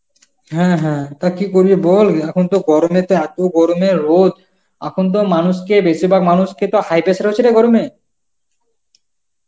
হ্যাঁ হ্যাঁ, তা কি করবে বল এখন তো গরমে তো এত গরমের রোদ এখন তো আর মানুষকে বেশিরভাগ মানুষকে তো high pressure হচ্ছে রে গরমে.